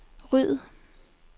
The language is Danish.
ryd